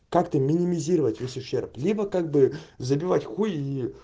как то минимизировать весь ущерб либо как бы забивать хуй и